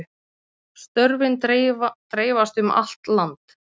Störfin dreifast um allt land